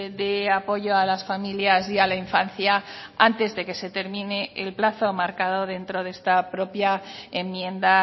de apoyo a las familias y a la infancia antes de que se termine el plazo marcado dentro de esta propia enmienda